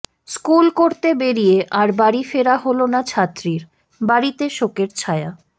school করতে বেরিয়ে আর বাড়ি ফেরা হল না ছাত্রীর বাড়িতে শোকের ছায়া